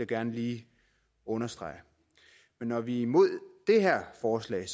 gerne lige understrege når vi er imod det her forslag er